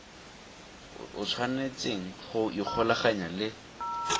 o tshwanetseng go ikgolaganya le